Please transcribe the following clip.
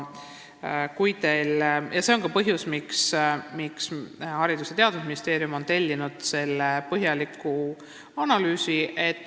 See on ka põhjus, miks Haridus- ja Teadusministeerium on tellinud selle põhjaliku analüüsi.